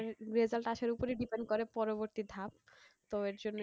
Result আসার ওপরেই depend করে পরবর্তী ধাপ, তো এর জন্যই,